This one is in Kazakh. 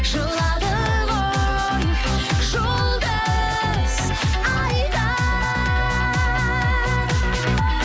жылады ғой жұлдыз ай да